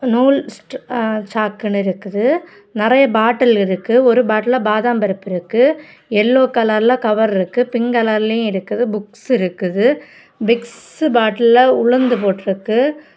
நூல்ஸ்ட் சாக்குனு இருக்குது நெறைய பாட்டில் இருக்கு ஒரு பாட்டில்ல பாதாம் பருப்பு இருக்கு எல்லோ கலர்ல கவர் இருக்கு பிங்க் கலர்யும் இருக்குது புக்ஸ் இருக்குது விக்ஸ் பாட்டில்ல உளுந்து போட்டு இருக்கு.